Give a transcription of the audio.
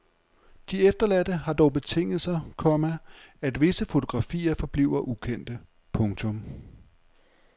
De efterladte har dog betinget sig, komma at visse fotografier forbliver ukendte. punktum